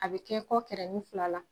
A bɛ kɛ kɔ kɛrɛnin fila la